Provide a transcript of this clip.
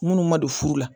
Minnu ma don furu la